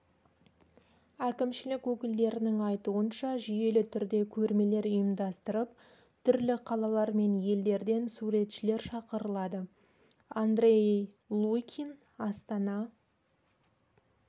әкімшілік өкілдерінің айтуынша жүйелі түрде көрмелер ұйымдастырып түрлі қалалар мен елдерден суретшілер шақырылады андрей лукин астана